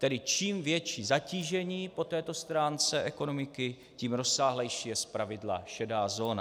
Tedy čím větší zatížení po této stránce ekonomiky, tím rozsáhlejší je zpravidla šedá zóna.